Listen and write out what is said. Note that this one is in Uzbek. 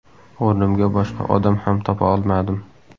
O‘rnimga boshqa odam ham topa olmadim.